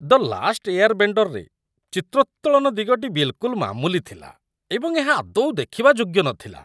"ଦ last ଏୟାରବେଣ୍ଡର"ରେ ଚିତ୍ରୋତ୍ତୋଳନ ଦିଗଟି ବିଲ୍‌କୁଲ୍ ମାମୁଲି ଥିଲା, ଏବଂ ଏହା ଆଦୌ ଦେଖିବା ଯୋଗ୍ୟ ନଥିଲା।